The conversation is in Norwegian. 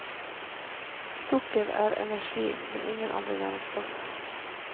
Sukker er energi, men ingen andre næringsstoffer.